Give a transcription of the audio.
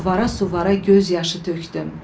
Suvara-suvara göz yaşı tökdüm.